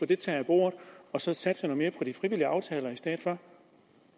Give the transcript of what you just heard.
det taget af bordet og så satse noget mere på de frivillige aftaler i stedet for